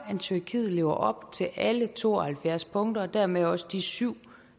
tyrkiet lever op til alle to og halvfjerds punkter og dermed også de syv